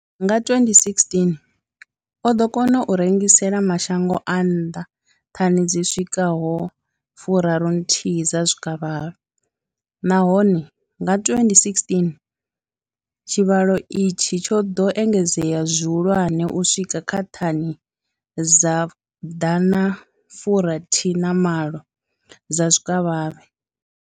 Nga 2016, o ḓo kona u rengisela mashango a nnḓa thani dzi swikaho fu raru nthihi dza zwikavhavhe, nahone nga 2016 tshivhalo itshi tsho ḓo engedzea zwihulwane u swika kha thani dza ḓana fu rathi malo dza zwikavhavhe.